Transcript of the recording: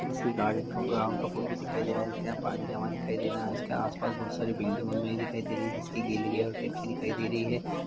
किसी गार्डन का ग्राउंड का फोटो दिखाई दे रहा जिसके यहाँ पानी जमा दिखाई दे रहा है इसके आसपास बोहत सारी बिल्डिंगो में दिखाई दे रही है जिसकी गलेरिया और खिड़की दिखाई दे रही है।